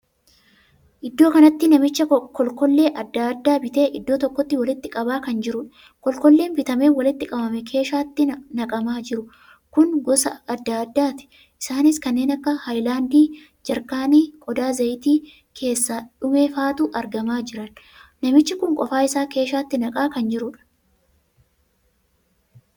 Iddoo kanatti namicha kolkollee addaa addaa bitee iddoo tokkotti walitti qabaa kan jirudha. kolkolleen bitamee walitti qabame keeshaatti naqamaa jiru kun gosa addaa addaati. isaanis kanneen akka hayilaandii, jaarkaanii, qodaa zayitii keessaa dhumefaatu argamaa jiran. namichi kun qofa isaa keeshaatti naqaa kan jirudha.